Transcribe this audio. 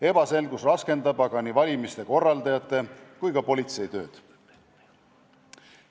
Ebaselgus raskendab aga nii valimiste korraldajate kui ka politsei tööd.